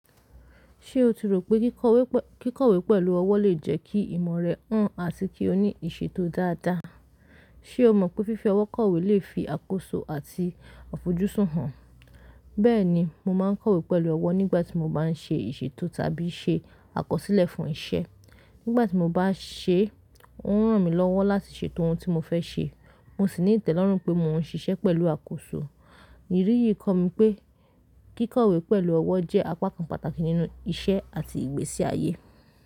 Ṣé o ti rò pé kíkọ̀wé pẹ̀lú ọwọ́ lè jẹ́ kí ìmọ̀ rẹ hán àti kí o ní ìṣètò dáadáa? Ṣé o mọ̀ pé fífi ọwọ́ kọ̀wé lè fi àkóso àti àfojúsùn hàn? Bẹ́ẹ̀ni, mo máa ń kọ̀wé pẹ̀lú ọwọ́ nígbàtí mo bá ń ṣe ìṣètò tàbí ṣe àkọsílẹ̀ fún iṣẹ́. Nígbàtí mo bá ṣẹ́, ó ń ràn mí lọ́wọ́ láti ṣètò ohun tí mo fẹ́ ṣe, mo sì ní ìtẹ́lọ́rùn pé mò ń ṣiṣẹ́ pẹ̀lú àkóso. Ìrí yìí kọ́ mi pé kíkọ̀wé pẹ̀lú ọwọ́ jẹ́ apá kan pàtàkì nínú iṣẹ́ àti ìgbésí ayé.